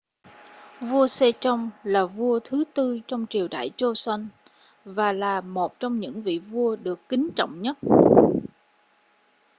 vua sejong là vua thứ tư trong triều đại joseon và là một trong những vị vua được kính trọng nhất